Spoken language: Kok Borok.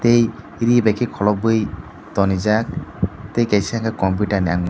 tei ri baikhe kholobwi tonijak tei kaisa khe computerni ang.